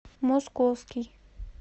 московский